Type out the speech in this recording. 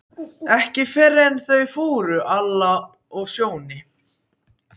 Ekki fyrr en eftir að þau fóru, Alla og Sjóni.